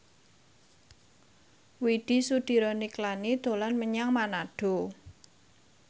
Widy Soediro Nichlany dolan menyang Manado